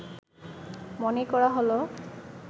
মনে করা হল